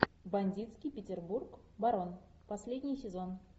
бандитский петербург барон последний сезон